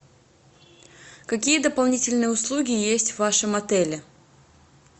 какие дополнительные услуги есть в вашем отеле